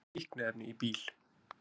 Fundu fíkniefni í bíl